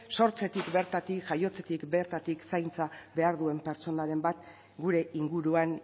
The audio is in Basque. sortzetik bertatik jaiotzetik bertatik zaintza behar duen pertsonaren bat gure inguruan